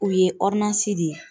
U ye de ye